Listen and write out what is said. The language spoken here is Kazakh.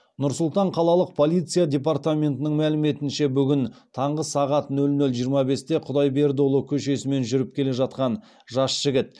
нұр сұлтан қалалық полиция департаментінің мәліметінше бүгін түнгі сағат нөл нөл жиырма бесте құдайбердіұлы көшесімен жүріп келе жатқан жас жігіт